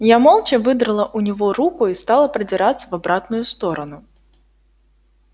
я молча выдрала у него руку и стала продираться в обратную сторону